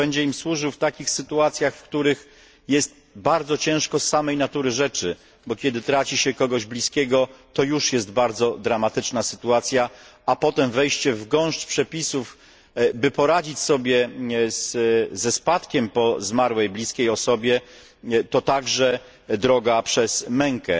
I to będzie im służył w takich sytuacjach, w których jest bardzo ciężko z samej natury rzeczy bo kiedy traci się kogoś bliskiego, to już jest bardzo dramatyczna sytuacja a potem wejście w gąszcz przepisów, by poradzić sobie ze spadkiem po zamarłej bliskiej osobie, to także droga przez mękę.